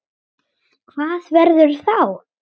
Hvað verður þá?